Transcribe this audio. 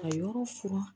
Ka yɔrɔ furan